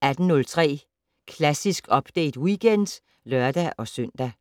18:03: Klassisk Update Weekend (lør-søn)